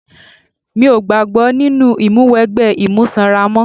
Mi ò gbàgbọ́ nínú ìmúwẹgbẹ́ imú sanra mọ́.